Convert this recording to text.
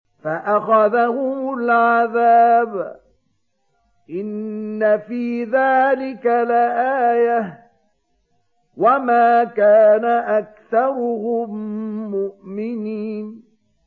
فَأَخَذَهُمُ الْعَذَابُ ۗ إِنَّ فِي ذَٰلِكَ لَآيَةً ۖ وَمَا كَانَ أَكْثَرُهُم مُّؤْمِنِينَ